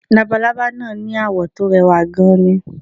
Labalábá náà ni àwọ̀ tó rẹwà gan-an ni